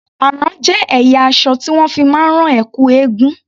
Àrán jé ẹ̀yà aṣọ tí wón fi máa ń rán ẹ̀kú eégún.